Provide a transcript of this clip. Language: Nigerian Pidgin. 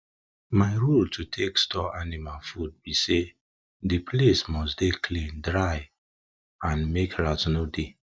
my rule to take store anima food bi say di place must dey clean dry and make rat no dey